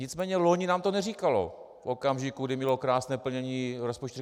Nicméně loni nám to neříkalo v okamžiku, kdy mělo krásné plnění rozpočtu.